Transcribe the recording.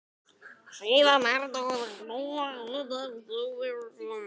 Síðan hertóku þeir stóran hluta af Sovétríkjunum.